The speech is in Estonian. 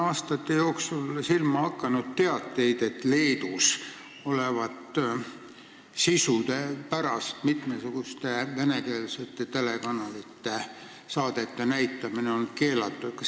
Aastate jooksul on mulle silma hakanud teateid, et Leedus olevat sisu pärast mitmesuguste venekeelsete telekanalite saadete näitamine keelatud.